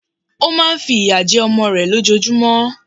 Ó má a nfi ìyà jẹ ọmọ rẹ̀ lójojúmọ́